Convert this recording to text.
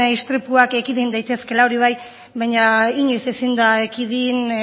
istripuak ekiden daitezkeela hori bai baina inoiz ezin da ekidin